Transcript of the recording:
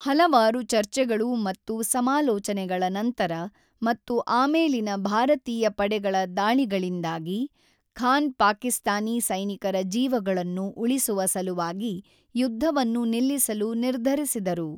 ಹಲವಾರು ಚರ್ಚೆಗಳು ಮತ್ತು ಸಮಾಲೋಚನೆಗಳ ನಂತರ, ಮತ್ತು ಆಮೇಲಿನ ಭಾರತೀಯ ಪಡೆಗಳ ದಾಳಿಗಳಿಂದಾಗಿ, ಖಾನ್ ಪಾಕಿಸ್ತಾನಿ ಸೈನಿಕರ ಜೀವಗಳನ್ನು ಉಳಿಸುವ ಸಲುವಾಗಿ ಯುದ್ಧವನ್ನು ನಿಲ್ಲಿಸಲು ನಿರ್ಧರಿಸಿದರು.